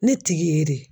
Ne tigi ye de ye